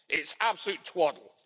It's absolute twaddle.